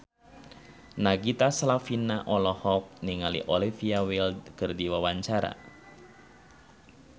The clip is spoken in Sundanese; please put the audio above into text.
Nagita Slavina olohok ningali Olivia Wilde keur diwawancara